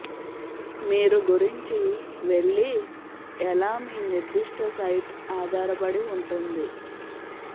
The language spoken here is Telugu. మీరు గురించి వెళ్ళి ఎలా మీ నిర్దిష్ట సైట్ ఆధారపడి ఉంటుంది